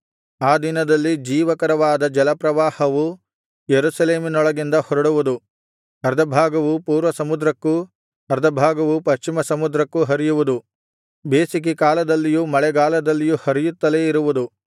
ಆ ದಿನದಲ್ಲಿ ಜೀವಕರವಾದ ಜಲಪ್ರವಾಹವು ಯೆರೂಸಲೇಮಿನೊಳಗಿಂದ ಹೊರಡುವುದು ಅರ್ಧಭಾಗವು ಪೂರ್ವಸಮುದ್ರಕ್ಕೂ ಅರ್ಧಭಾಗವು ಪಶ್ಚಿಮ ಸಮುದ್ರಕ್ಕೂ ಹರಿಯುವುದು ಬೇಸಿಗೆಕಾಲದಲ್ಲಿಯೂ ಮಳೆಗಾಲದಲ್ಲಿಯೂ ಹರಿಯುತ್ತಲೇ ಇರುವುದು